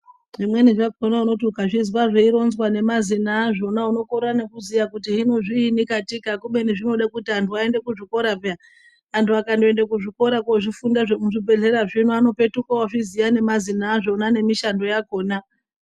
Zvimweni zvakona unoti ukazvizwa zveironzwa nemazina azvona unokorera nekuziya kuti hino zviini katika, kubeni zvinode kuti antu aende kuzvikora peya, antu akandoende kuzvikora kozvifunda zvemuzvibhedhlera zvino anopetuka ozviziya nemazina azvona nemishando yakhona.